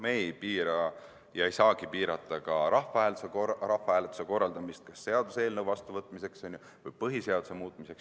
Me ei piira ja ei saagi piirata ka rahvahääletuse korraldamist seaduseelnõu vastuvõtmiseks või põhiseaduse muutmiseks.